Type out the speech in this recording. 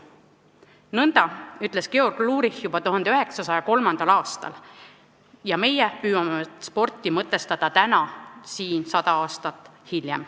" Nõnda ütles Georg Lurich juba 1903. aastal ja meie püüame siin sada aastat hiljem sporti mõtestada.